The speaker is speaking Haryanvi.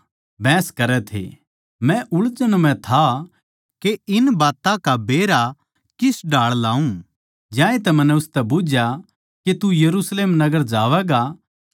मै उळझन म्ह था के इन बात्तां का बेरा किस ढाळ लाऊँ ज्यांतै मन्नै उसतै बुझ्झया के तू यरुशलेम नगर जावैगा के ओड़ै इन बात्तां का फैसला होवै